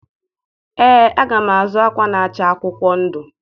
Ee, aga m azụ akwa na-acha akwụkwọ ndụ.